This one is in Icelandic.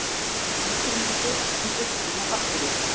Ágreiningur um uppruna bakteríu